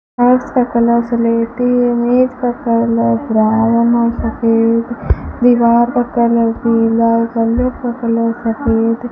फर्श का कलर्स स्लेटी है इमेज का कलर ब्राउन और सफेद सफेद दीवार का कलर पीला का कलर सफेद --